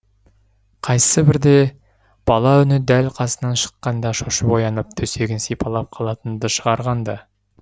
қайсыбірде бала үні дәл қасынан шыққанда шошып оянып төсегін сипалап қалатынды шығарған ды